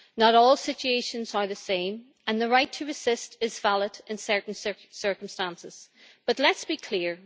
Not all situations are the same and the right to assist is valid in certain circumstances. But let us be clear.